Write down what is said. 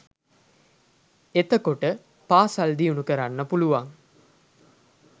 එතකොට පාසල් දියුණු කරන්න පුලුවන්.